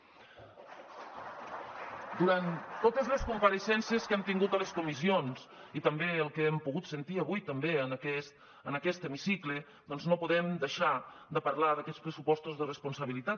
durant totes les compareixences que hem tingut a les comissions i també pel que hem pogut sentir avui també en aquest hemicicle doncs no podem deixar de parlar d’aquests pressupostos de responsabilitat